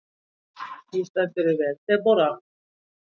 Þú stendur þig vel, Debóra!